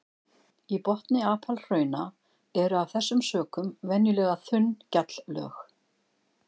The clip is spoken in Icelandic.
Í botni apalhrauna eru af þessum sökum venjulega þunn gjalllög.